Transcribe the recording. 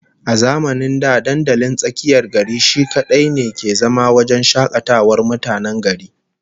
A zamanin da dandalin tsakiyar gari shi kadai ne ke zama wajen shakatawar mutanen gari